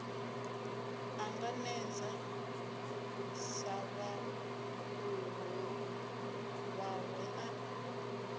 ṱanganedze sa vhaḓuhulu vhawe a